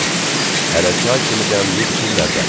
Hələ çay kimi dəmləyib içirlər də.